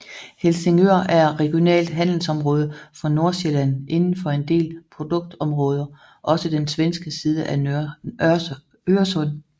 Helsingør er regionalt handelsområde for Nordsjælland inden for en del produktområder også den svenske side af Øresund